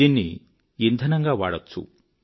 దీన్ని ఇంధనంగా వాడవచ్చు